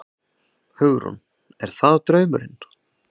Hugrún: Er það draumurinn?